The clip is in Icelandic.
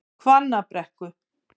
Hvannabrekku